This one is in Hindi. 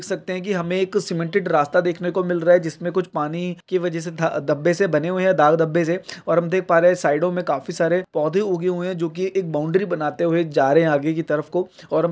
हम देख सकते हैं की हमें एक सीमेंटेड रास्ता देखने को मिल रहा है। जिसमे कुछ पानी की वजह से कुछ धब्बे से बने हुए है दाग धब्बे से और हम देख पा रहे है साइडों में काफी सारे पौधे उगे हुए है जो एक बाउंड्री बनाते हुए जा रहे है आगे की तरफ को और --